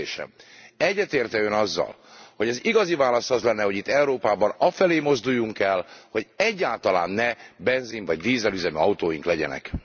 A kérdésem egyetért e Ön azzal, hogy az igazi válasz az lenne, hogy itt Európában afelé mozduljunk el, hogy egyáltalán ne benzin vagy dízelüzemű autóink legyenek?